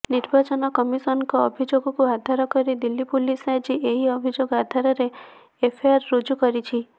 ନିର୍ବାଚନ କମିସନଙ୍କ ଅଭିଯୋଗକୁ ଆଧାର କରି ଦିଲ୍ଲୀ ପୁଲିସ ଆଜି ଏହି ଅଭିଯୋଗ ଆଧାରରେ ଏଫଆଇଆର୍ ରୁଜୁ କରିଛି